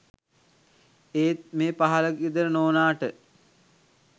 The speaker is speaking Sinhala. ඒත් මේ පහළ ගෙදර නෝනාට